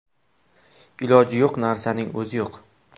Iloji yo‘q narsaning o‘zi yo‘q.